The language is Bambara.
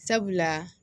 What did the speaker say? Sabula